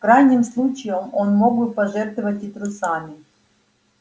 в крайнем случае он мог бы пожертвовать и трусами